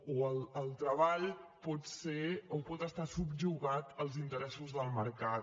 o el treball pot ser o pot estar subjugat als interessos del mercat